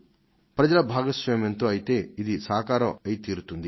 దీనిని సాధించుకోవడంలో ప్రజల భాగస్వామ్యం పాత్ర ఎంతగానో ఉంది